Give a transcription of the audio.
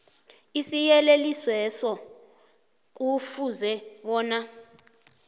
isiyelelisweso kufuze bona